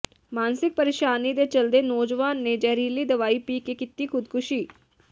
ਮਾਨਸਿਕ ਪਰੇਸ਼ਾਨੀ ਦੇ ਚਲਦੇ ਨੌਜਵਾਨ ਨੇ ਜ਼ਹਿਰੀਲੀ ਦਵਾਈ ਪੀ ਕੇ ਕੀਤੀ ਖ਼ੁਦਕੁਸ਼ੀ